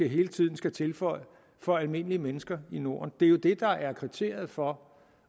hele tiden skal tilføje for almindelige mennesker i norden det er jo det der er kriteriet for